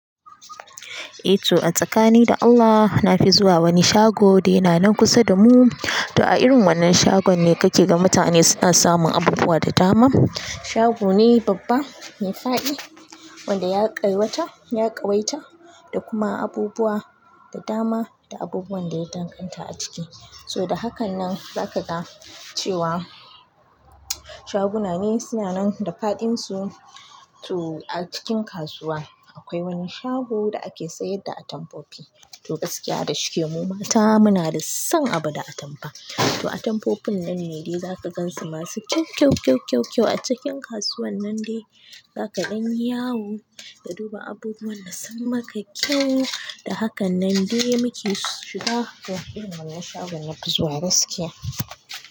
Eh to a tsakani da Allah na fi zuwa wani shago de yana nan kusa da mu. To a irin wannan shagon ne kake ga mutane suna samun abubuwa da dama. Shago ne babba mai faɗi wanda ya ƙawata, ya ƙawaita da kuma abubuwa da dama da abubuwan da ya danganta a ciki. So da hakan nan zaka ga cewa shaguna ne suna nan da faɗin su. To a cikin kasuwa akwai wani shago da ake sayar da atamfofi. To gaskiya da shike mu mata muna da son abu da atamfa. To atamfofin nan ne dai zaka gansu masu kyau, kyau, kyau, kyau, kyau a cikin kasuwan nan dai zaka ɗanyi yawo ka duba abubuwan da sun maka kyau. Da hakan nan dai muke shiga irin wannan shagon nafi zuwa gaskiya.